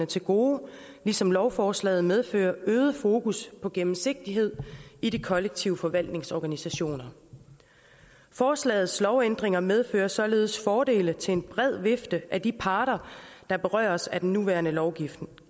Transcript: til gode ligesom lovforslaget medfører øget fokus på gennemsigtighed i de kollektiv forvaltnings organisationer forslagets lovændringer medfører således fordele til en bred vifte af de parter der berøres af den nuværende lovgivning